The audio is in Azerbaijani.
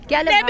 Gəlib.